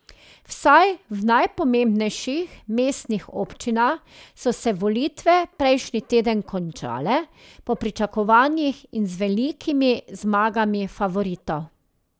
Vsaj v najpomembnejših mestnih občinah so se volitve prejšnji teden končale po pričakovanjih in z velikimi zmagami favoritov.